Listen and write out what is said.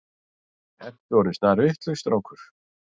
Ertu orðinn snarvitlaus strákur.